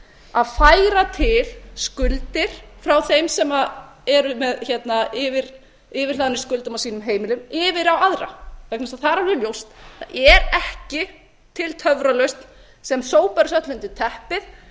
að færa til skuldir frá þeim sem eru með yfirhlaðnir skuldum á sínum heimilum yfir á aðra vegna þess að það er alveg ljóst að það er ekki til töfralausn sem sópar þessu öllu